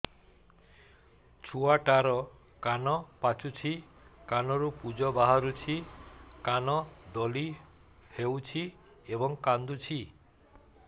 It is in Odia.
ଛୁଆ ଟା ର କାନ ପାଚୁଛି କାନରୁ ପୂଜ ବାହାରୁଛି କାନ ଦଳି ହେଉଛି ଏବଂ କାନ୍ଦୁଚି